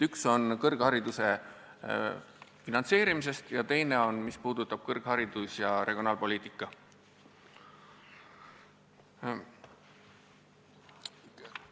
Üks on kõrghariduse finantseerimine ja teine puudutab kõrgharidus- ja regionaalpoliitikat.